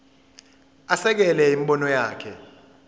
asekele imibono yakhe